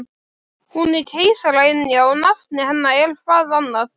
Hún er keisaraynjan og nafn hennar er-hvað annað?